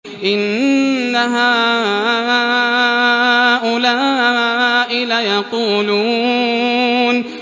إِنَّ هَٰؤُلَاءِ لَيَقُولُونَ